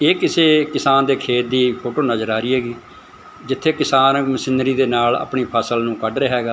ਇਹ ਕਿਸੇ ਕਿਸਾਨ ਦੇ ਖੇਤ ਦੀ ਫੋਟੋ ਨਜ਼ਰ ਆ ਰਹੀ ਹੈਗੀ ਜਿੱਥੇ ਕਿਸਾਨ ਮਸ਼ੀਨਰੀ ਦੇ ਨਾਲ ਆਪਣੀ ਫਸਲ ਨੂੰ ਕੱਢ ਰਿਹਾ ਹੈਗਾ।